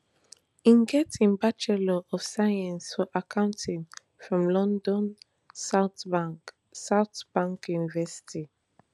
e get im bachelor of science for accounting from london south bank south bank university